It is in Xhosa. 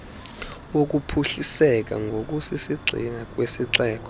wokuphuhliseka ngokusisigxina kwesixeko